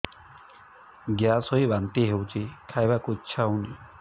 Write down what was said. gas ହୋଇ ବାନ୍ତି ହଉଛି ଖାଇବାକୁ ଇଚ୍ଛା ହଉନି